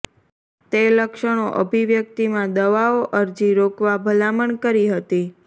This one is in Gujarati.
તે લક્ષણો અભિવ્યક્તિ માં દવાઓ અરજી રોકવા ભલામણ કરી હતી